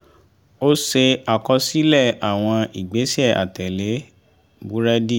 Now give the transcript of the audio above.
ó ṣe àkọsílẹ̀ àwọn ìgbésẹ̀ àtẹ̀lé búrẹ́dì